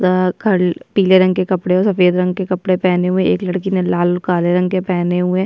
ओ खा पीले रंग के कपडे और सफेद रंग के कपड़े पहने हुए है एक लड़की ने लाल काले रंग के कपड़े पहने हुए है।